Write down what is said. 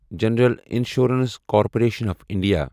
general insurance corporation of India